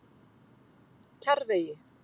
Kjarrvegi